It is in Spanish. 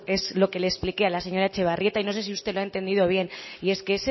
es lo que le expliqué a la señora etxebarrieta y no sé si usted lo ha entendido bien y es que